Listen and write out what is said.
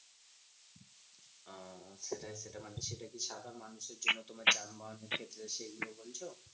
সেটাই সেটা, মানে সেটা কি? সাধারণ মানুষের জন্য তোমার যানবাহন ক্ষেত্রে সেগুলো বলছো?